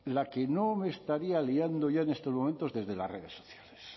la que no me estaría liando ya en estos momentos desde las redes sociales